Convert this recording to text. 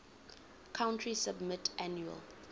country submit annual